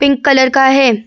Pink colour का हैं।